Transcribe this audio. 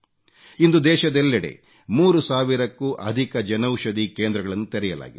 ಇಂದು ದೇಶದೆಲ್ಲೆಡೆ 3 ಸಾವಿರಕ್ಕೂ ಅಧಿಕ ಜನೌಷಧಿ ಕೇಂದ್ರಗಳನ್ನು ತೆರೆಯಲಾಗಿದೆ